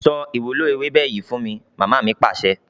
Sọ ìwúlò ewébẹ̀ yìí fún mi! Mama mi Pàṣẹ.